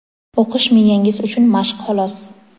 O‘qish miyangiz uchun mashq xolos.